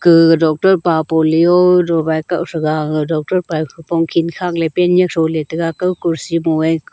gaga doctor pa polio dowai kaoh threga aga doctor pae khupong khen khakley pant nyak throley taiga kaw kurci mo e--